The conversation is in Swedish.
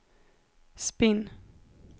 spinn